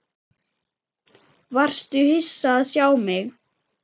Varstu hissa að sjá mig?